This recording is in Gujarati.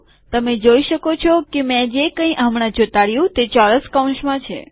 તમે જોઈ શકો છો કે મેં જે કઈ હમણાં ચોંટાડ્યું તે ચોરસ કૌંસમાં છે